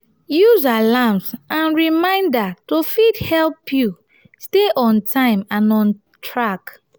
use alarms and reminder to fit help you stay on time and on track